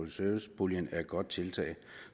service puljen er et godt tiltag